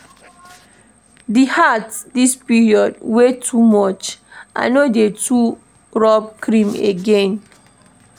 Di heat dis period dey too much, I no dey rob cream again.